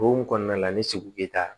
O hukumu kɔnɔna la ni segu bɛ taa